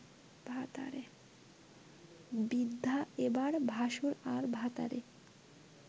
বৃদ্ধা এবার ভাশুর আর ভাতারে